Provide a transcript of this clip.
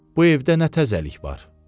Bu evdə nə təzəlik var?